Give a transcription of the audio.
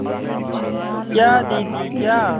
क्या दीदी क्या